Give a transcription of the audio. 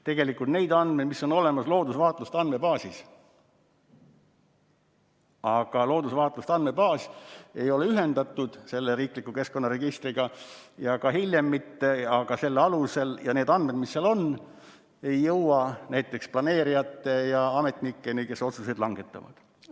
Tegelikult need andmed on olemas loodusvaatluste andmebaasis, aga see ei ole ühendatud riikliku keskkonnaregistriga, ka hiljem mitte, ja need andmed, mis seal on, ei jõua näiteks planeerijate ja ametnikeni, kes otsuseid langetavad.